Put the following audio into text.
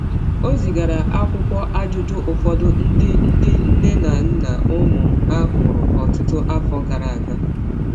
Ọ zigara akwụkwọ ajụjụ ụfọdụ ndị ndị nne na nna ụmụ ha nwụrụ ọtụtụ afọ gara aga.